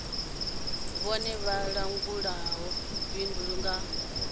vhone vha langulaho bindu nga